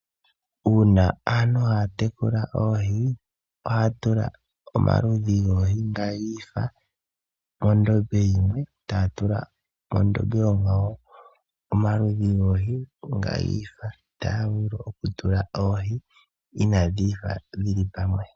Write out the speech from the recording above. Uuna aantu taya tekula oohi, ohaya tula omaludhi ogendji nga giifa mondombe yimwe, taya tula mondombe onkwawo omaludhi goohi onga giifa. Otaya vulu okutula oohi inaa dhi ifa dhili pamwe.